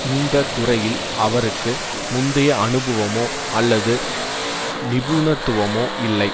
இந்த துறையில் அவருக்கு முந்திய அனுபவமோ அல்லது நிபுணத்துவமோ இல்லை